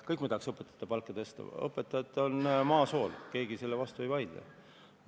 Kõik me tahaks õpetajate palka tõsta, õpetajad on maa sool, keegi sellele vastu ei vaidle.